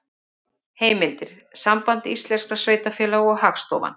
Heimildir: Samband íslenskra sveitarfélaga og Hagstofan.